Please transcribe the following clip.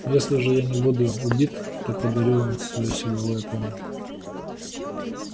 если же я не буду убит то подарю вам своё силовое поле